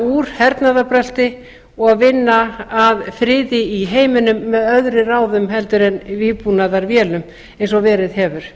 úr hernaðarbrölti og vinna að friði í heiminum með öðrum ráðum heldur en vígbúnaðarvélum eins og verið hefur